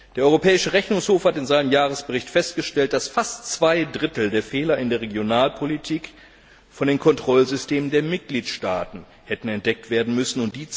Der Europäische Rechnungshof hat in seinem Jahresbericht festgestellt, dass fast zwei Drittel der Fehler in der Regionalpolitik von den Kontrollsystemen der Mitgliedstaaten hätten entdeckt werden müssen.